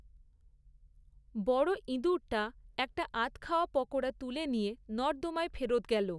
বড়ো ইঁদুরটা একটা আধখাওয়া পকোড়া তুলে নিয়ে নর্দমায় ফেরত গেল।